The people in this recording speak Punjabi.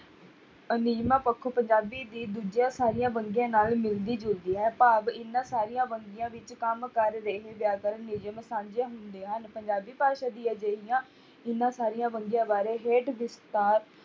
ਪੱਖੋਂ ਪੰਜਾਬੀ ਦੀ ਦੂਜੀਆਂ ਸਾਰੀਆਂ ਵੰਨਗੀਆਂ ਨਾਲ ਮਿਲਦੀ ਜੁਲਦੀ ਹੈ ਭਾਵ ਇਹਨਾਂ ਸਾਰੀਆਂ ਵੰਨਗੀਆਂ ਵਿੱਚ ਕੰਮ ਕਰ ਰਹੇ ਜ਼ਿਆਦਾਤਰ ਨਿਯਮ ਸਾਂਝੇ ਹੁੰਦੇ ਹਨ, ਪੰਜਾਬੀ ਭਾਸ਼ਾ ਦੀ ਅਜਿਹੀਆਂ ਇਹਨਾਂ ਸਾਰੀਆਂ ਵੰਨਗੀਆਂ ਬਾਰੇ ਹੇਠ ਦਿੱਤਾ